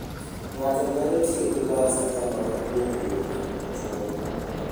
Ng'ato nyalo tiyo gi bas kata mana kuom wuoth machuok.